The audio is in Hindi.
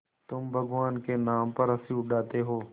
तुम भगवान के नाम पर हँसी उड़ाते हो